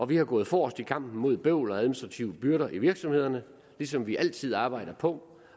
vi er gået forrest i kampen mod bøvl og administrative byrder i virksomhederne ligesom vi altid arbejder på